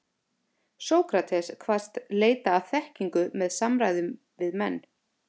Sókrates kvaðst leita að þekkingu með samræðum við menn.